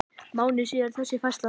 Mánuði síðar er þessi færsla